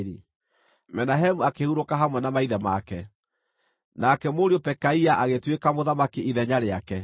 Menahemu akĩhurũka hamwe na maithe make. Nake mũriũ Pekaia agĩtuĩka mũthamaki ithenya rĩake.